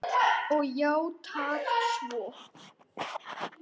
Og játað svo.